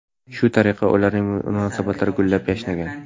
Shu tariqa ularning munosabatlari gullab-yashnagan.